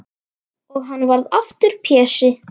Og hann varð aftur Pési.